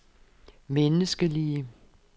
menneskelige